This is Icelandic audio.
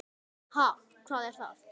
Ha, hvað er það?